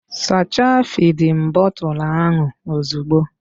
Sachaa fịdin bọtul ahụ ozugbo!